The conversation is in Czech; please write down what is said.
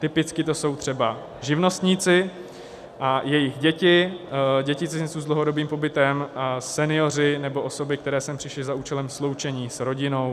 Typicky to jsou třeba živnostníci a jejich děti, děti cizinců s dlouhodobým pobytem a senioři nebo osoby, které sem přišli za účelem sloučení s rodinou.